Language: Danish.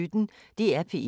DR P1